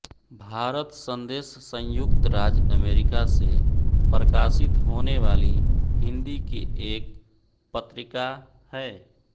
भारत संदेश संयुक्त राज्य अमेरिका से प्रकाशित होने वाली हिन्दी की एक पत्रिका है